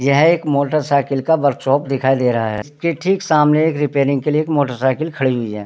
यह एक motorcycle का वर्क शॉप दिखाई दे रहा है इसकी ठीक सामने एक रिपेयरिंग के लिए मोटर साइकिल खड़ी हुवी है।